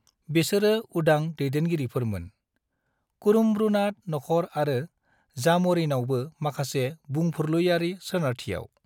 बेसोरो उदां दैदेनगिरिफोरमोन, कुरुम्ब्रुनाद नख'र आरो जाम'रिनावबो माखासे बुंफुरलुयारि सोनारथियाव।